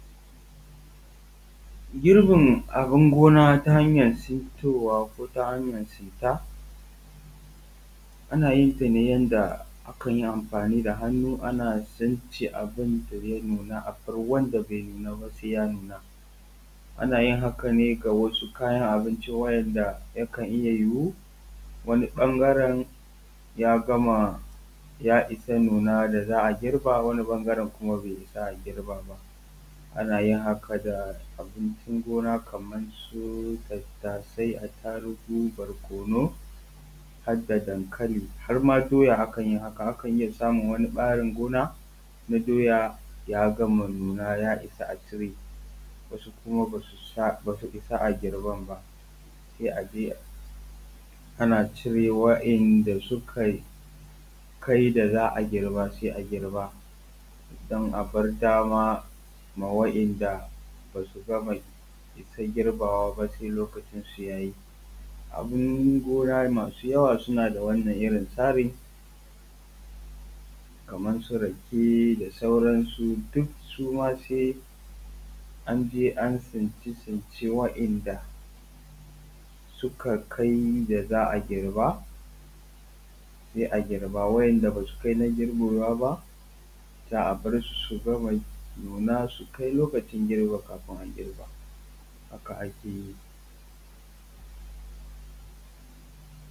Girbin abin gona ta hanya tsintowa ko ta hanya tsinta ana yin ta ne yanda akan yi amfani da hannu ana tsince abin da ya nuna, abar wanda bai nuna ba sai ya nuna. Ana yin haka ne ga wasu kayan abinci wa'inda yakan iya yiwu wani ɓangaran ya gama ya isa nuna da za a girba wani ɓangaran kuma bai isa kuma a girba ba. Ana yin haka da abincin gona kamar su tatasai, atarugu, barkonu, har da dankali, har ma doya akan yi haka. Akan iya samun wani ɓarin gona na doya ya gama nuna ya isa a cire, wasu kuma ba su isa a girban. Sai a je ana cire wa'inda suka kai da za a girba sai agirba, don a bar dama ma wa'inda basu gama isan girbawa ba sai lokacin su yayi. Abin gona masu yawa suna da wannan irin tsarin kamar su rake da sauransu duk suma sai an je an yi tsince tsincen wa'inda suka kai da za a girba sai a girba, wa'inda basu kai na girbewa ba za a bar su su gama nuna su kai lokacin girbin kafin a girba haka ake yi.